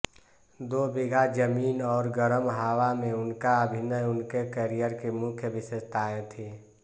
दो बिघा ज़मीन और गरम हावा में उनका अभिनय उनके करियर की मुख्य विशेषताएं थी